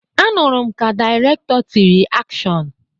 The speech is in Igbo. Anụrụ m ka dịrektọ tịrị 'akshọn'